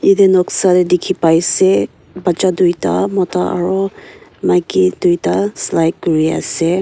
etu noksa te dekhi pai se batcha duita Mota aru maiki duita slide kori ase.